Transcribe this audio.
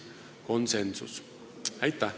Aitäh!